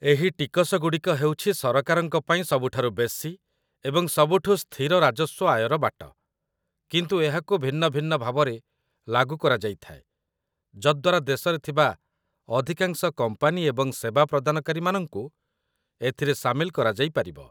ଏହି ଟିକସଗୁଡ଼ିକ ହେଉଛି ସରକାରଙ୍କ ପାଇଁ ସବୁଠାରୁ ବେଶୀ ଏବଂ ସବୁଠୁ ସ୍ଥିର ରାଜସ୍ୱ ଆୟର ବାଟ, କିନ୍ତୁ ଏହାକୁ ଭିନ୍ନ ଭିନ୍ନ ଭାବରେ ଲାଗୁ କରାଯାଇଥାଏ, ଯଦ୍ଦ୍ୱାରା ଦେଶରେ ଥିବା ଅଧିକାଂଶ କମ୍ପାନୀ ଏବଂ ସେବା ପ୍ରଦାନକାରୀମାନଙ୍କୁ ଏଥିରେ ସାମିଲ କରାଯାଇପାରିବ